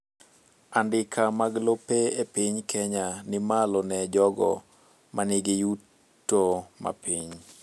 andika mag lope e piny Kenya ni malo ne jogo manigi yuto mapiny